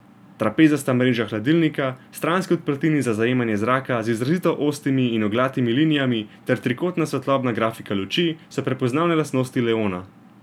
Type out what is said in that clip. Trapezasta mreža hladilnika, stranski odprtini za zajemanje zraka z izrazito ostrimi in oglatimi linijami ter trikotna svetlobna grafika luči, so prepoznavne lastnosti leona.